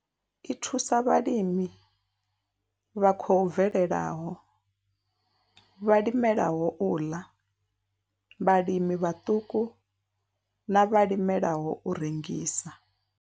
I thusa vhalimi vha khou bvelelaho, vhalimelaho u ḽa, vhalimi vhaṱuku na vhalimela u rengisa.